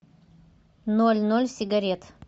ноль ноль сигарет